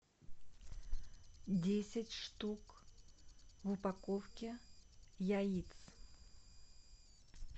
десять штук в упаковке яиц